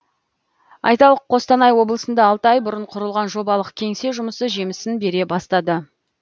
айталық қостанай облысында алты ай бұрын құрылған жобалық кеңсе жұмысы жемісін бере бастады